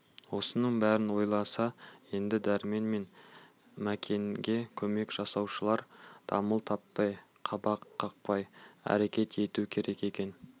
осының бәрін ойласа енді дәрмен мен мәкенге көмек жасаушылар дамыл таппай қабақ қақпай әрекет ету керек екен